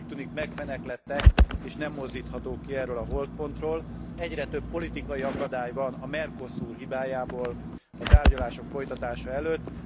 Ezek úgy tűnik megfeneklettek és nem mozdíthatók ki erről a holtpontról. Egyre több politikai akadály van a Mercosur hibájából a tárgyalások folytatása előtt.